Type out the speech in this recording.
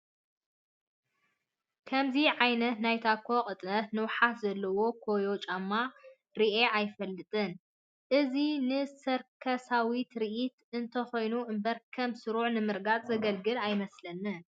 ከምዚ ኣይነት ናይ ታኮ ቅጥነትን ንውሓትን ዘለዎ ኮዮ ጨማ ሪአ አይፈልጥን፡፡ እዚ ንሰርከሳዊ ትርኢት እንተኾኑ እምበር ከም ስሩዕ ንምርጋፅ ዘገልግል ኣይመስለንን፡፡